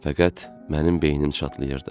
Fəqət mənim beynim çatlayırdı.